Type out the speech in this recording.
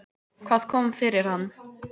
Hvað kom fyrir hann?